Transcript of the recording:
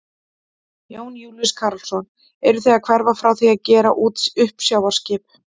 Jón Júlíus Karlsson: Eruð þið að hverfa frá því að gera út uppsjávarskip?